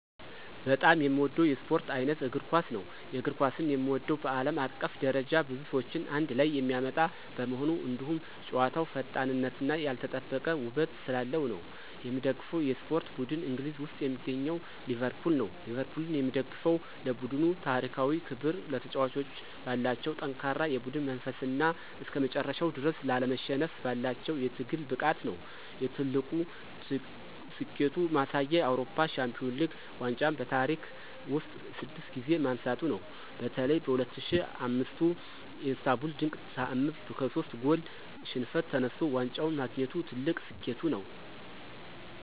በጣም የምወደው የስፖርት ዓይነት እግር ኳስ ነው። የእግር ኳስን የምወደው በዓለም አቀፍ ደረጃ ብዙ ሰዎችን አንድ ላይ የሚያመጣ በመሆኑ፣ እንዲሁም ጨዋታው ፈጣንነትና ያልተጠበቀ ውበት ስላለው ነው። የምደግፈው የስፖርት ቡድን እንግሊዝ ውስጥ የሚገኘው ሊቨርፑል ነው። ሊቨርፑልን የምደግፈው ለቡድኑ ታሪካዊ ክብር፣ ተጫዋቾቹ ባላቸው ጠንካራ የቡድን መንፈስና እስከመጨረሻው ድረስ ላለመሸነፍ ባላቸው የትግል ብቃት ነው። የትልቁ ስኬቱ ማሳያ የአውሮፓ ሻምፒዮንስ ሊግ ዋንጫን በታሪክ ውስጥ ስድስት ጊዜ ማንሳቱ ነው። በተለይ በ2005ቱ የኢስታንቡል ድንቅ ተዓምር ከሶስት ጎል ሽንፈት ተነስቶ ዋንጫውን ማግኘቱ ትልቁ ስኬቱ ነው።